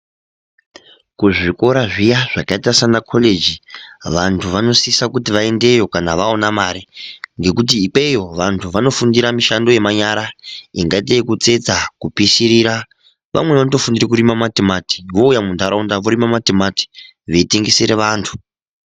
Kuzvikora zvakaita sana collegi vantu vanosisa kuti vaendeyo kana vaona mare ngekuti ikweyo vantu vanofundira mishando yemanyara ingaita yekutsetsa kupishirira vamwnei vanofundira kurima matimati vouya mundaraunda vorima matimati veitengesera vantu.